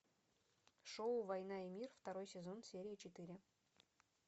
шоу война и мир второй сезон серия четыре